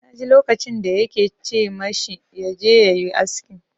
Na ji lokacin da ya ke ce ma shi ya je ya yi aski.